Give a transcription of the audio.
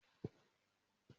Òògùn oní kóró ni mo lò ní àná